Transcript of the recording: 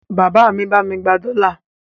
Bàbá mi bá mi gba dọ́là.